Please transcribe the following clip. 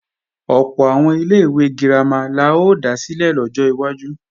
Ọ̀pọ̀ àwọn ilé-ìwé girama la ó dá sílẹ̀ lọ́jọ́ iwájú